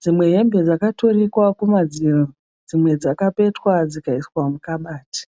Dzimwe hembe dzakatonikwa kumadziro dzimwe dzakapetwa dzikaiswa mukabati.